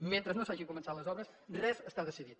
mentre no s’hagin començat les obres res està decidit